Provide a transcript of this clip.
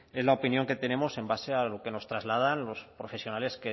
es la opinión que tenemos en base a lo que nos trasladan los profesionales